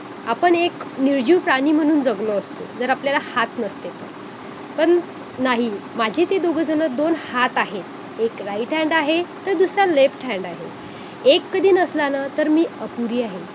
आपण एक निर्जीव प्राणी म्हणून जगलो असतो जर आपल्याला हात नसते तर पण नाही माझे ते दोघे जण दोन हात आहेत एक right hand आहे तर दुसरा left hand आहे एक कधी नसला ना मी अपुरी आहे